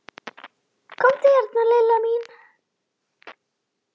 Komdu hérna Lilla mín.